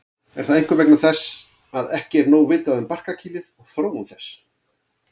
Er það einkum vegna þess að ekki er nóg vitað um barkakýlið og þróun þess.